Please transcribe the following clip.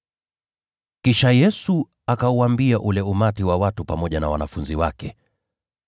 Kisha Yesu akauambia umati wa watu pamoja na wanafunzi wake: